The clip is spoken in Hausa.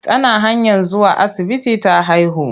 Tana hanyar zuwa asibiti ta haihu.